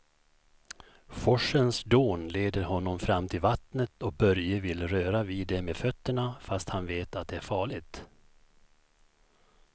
Forsens dån leder honom fram till vattnet och Börje vill röra vid det med fötterna, fast han vet att det är farligt.